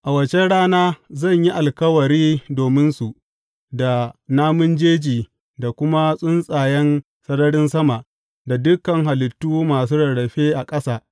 A waccan rana zan yi alkawari dominsu da namun jeji da kuma tsuntsayen sararin sama da dukan halittu masu rarrafe a ƙasa.